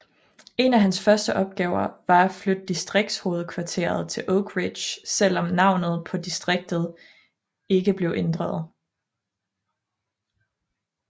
En af hans første opgaver var at flytte distriktshovedkvarteret til Oak Ridge selv om navnet på distriktet ikke blev ændret